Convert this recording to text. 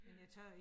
Ja